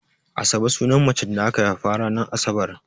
Asabe sunan macen da aka haifa ranar Asabar.